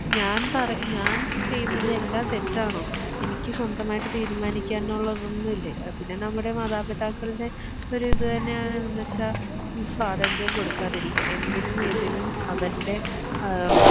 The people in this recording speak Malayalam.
ഞാൻ പറ ഞാൻ ചെയ്യുന്നതെല്ലാം തെറ്റാണോ എനിക്ക് സ്വന്തമായിട്ട് തീരുമാനിക്കാനുള്ളതോന്നുവില്ലേ അഹ് പിന്നെ നമ്മുടെ മാതാപിതാക്കൾടെ ഒരിത് തന്നെയാനനെന്നുവെച്ചാ ഉം സ്വാതന്ത്ര്യം കൊടുക്കാതിരിക്യാ എന്തിനും ഏതിനും അവർടെ അഹ്